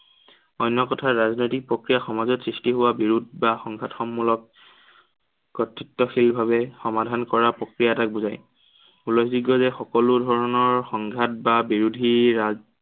অন্য় কথাত, ৰাজনৈতিক প্ৰক্ৰিয়াই সমাজত সৃষ্টি হোৱা বিৰোধ বা সংঘৰ্ষমূলক কতৃত্বশীল ভাৱে সমাধান কৰা প্ৰক্ৰিয়া এটাক বুজায়। যিটোৱে যে সকলো ধৰনৰ সংঘাত বা বিৰোধীৰ